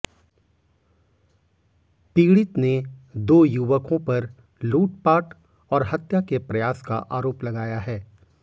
पीड़ित ने दो युवकों पर लूटपाट और हत्या के प्रयास का आरोप लगाया है